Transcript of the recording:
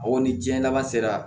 Aw ni diɲɛ laban sera